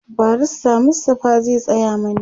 barrister Mustapha zai Tsaya mani